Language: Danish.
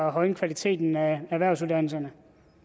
at højne kvaliteten af erhvervsuddannelserne